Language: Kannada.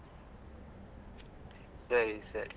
ಸರಿ ಸರಿ.